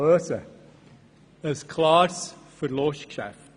Das ist ein klares Verlustgeschäft.